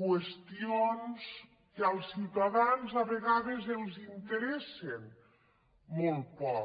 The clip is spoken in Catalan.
qüestions que als ciutadans a vegades els interessen molt poc